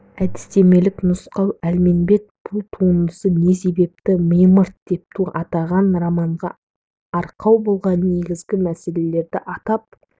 әдістемелік нұсқау әлменбет бұл туындысын не себепті мимырт деп атаған романға арқау болған негізгі мәселелерді атап